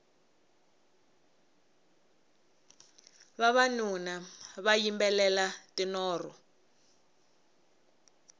vavanuna va yimbelela tinoro